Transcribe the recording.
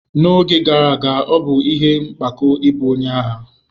N'oge gara aga, ọ bụ ihe mpako ịbụ onye agha.